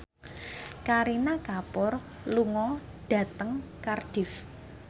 Kareena Kapoor lunga dhateng Cardiff